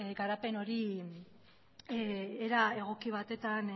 garapen hori era egoki batetan